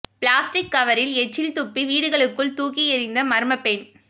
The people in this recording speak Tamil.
பிளாஸ்டிக் கவரில் எச்சில் துப்பி வீடுகளுக்குள் தூக்கி எறிந்த மர்ம பெண்